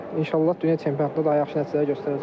İnşallah dünya çempionatında daha yaxşı nəticələr göstərəcəm.